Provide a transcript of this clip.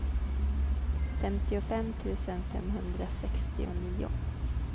femtiofem tusen femhundrasextionio